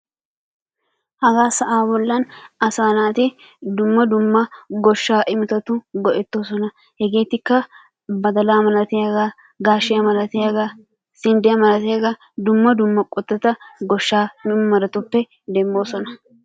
Hagaa sa'aa bollan asa naatti dumma dumma goshshaa imottatuni go'ettosona, hegettikka badalla malatiyaga, gashiyaa malatiyga sinddiyaa malatiyaga dumma dumma qottata goshsha muruttatuppe demmosona